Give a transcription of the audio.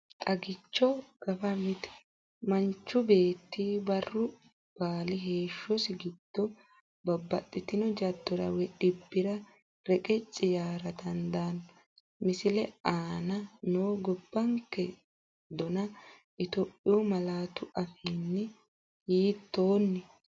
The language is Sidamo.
Xagicho Gafa Mite Manchu beetti barru baali heeshshosi giddo babbaxxitino jaddora woy dhibbira reqecci yaara dandanno, Misile aana noo gobbanke dona Itophiyu malaatu afiinni hiittoon?